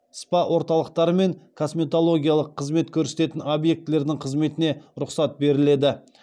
спа орталықтары мен косметологиялық қызмет көрсететін объектілердің қызметіне рұқсат беріледі